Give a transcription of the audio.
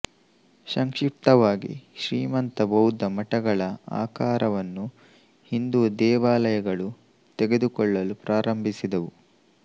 ಸಂಕ್ಷಿಪ್ತವಾಗಿ ಶ್ರೀಮಂತ ಬೌದ್ಧ ಮಠಗಳ ಆಕಾರವನ್ನು ಹಿಂದೂ ದೇವಾಲಯಗಳು ತೆಗೆದುಕೊಳ್ಳಲು ಪ್ರಾರಂಭಿಸಿದವು